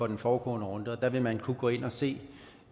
den foregående runde der vil man kunne gå ind at se